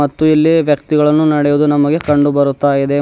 ಮತ್ತು ಇಲ್ಲಿ ವ್ಯಕ್ತಿಗಳನ್ನು ನಡೆಯುವುದು ನಮಗೆ ಕಂಡು ಬರ್ತಾ ಇದೆ.